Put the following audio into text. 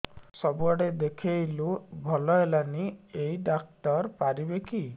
ସବୁଆଡେ ଦେଖେଇଲୁ ଭଲ ହେଲାନି ଏଇ ଡ଼ାକ୍ତର ପାରିବେ କି